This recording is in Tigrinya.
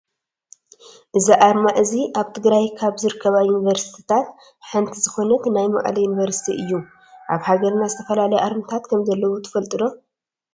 እዚ ኣርማ እዚ ኣብ ትግራይ ካብ ዝርከባ ዩኒቨርስትታት ሓንቲ ዝኮነት ናይ መቐለ ዩኒቨርስቲ እዩ። ኣብ ሃገርና ዝተፈላለዩ ኣርማታት ከምዘለው ትፈልጡ ዶ ?